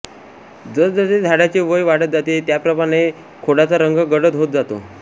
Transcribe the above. जसजसे झाडाचे वय वाढत जाते त्याप्रमाणे खोडाचा रंग गडद होत जातो